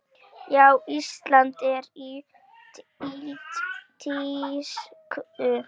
Já, Ísland er í tísku.